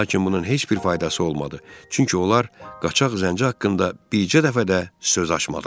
Lakin bunun heç bir faydası olmadı, çünki onlar qaçaq zənci haqqında bircə dəfə də söz açmadılar.